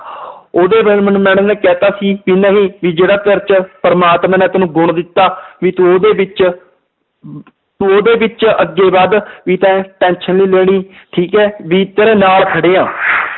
ਉਹਦੇ ਬਾਰੇ ਮੈਨੂੰ madam ਨੇ ਕਹਿ ਦਿੱਤਾ ਸੀ ਵੀ ਨਹੀਂ ਵੀ ਜਿਹੜਾ ਤੇਰੇ 'ਚ ਪ੍ਰਮਾਤਮਾ ਨੇ ਤੈਨੂੰ ਗੁਣ ਦਿੱਤਾ, ਵੀ ਤੂੰ ਉਹਦੇ ਵਿੱਚ ਤੂੰ ਉਹਦੇ ਵਿੱਚ ਅੱਗੇ ਵੱਧ ਵੀ ਤੈਂ tension ਨੀ ਲੈਣੀ ਠੀਕ ਹੈ ਵੀ ਤੇਰੇ ਨਾਲ ਖੜੇ ਹਾਂ